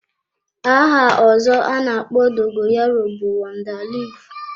Aha ọzọ ana-akpọ dogoyaro bụ wonda leaf.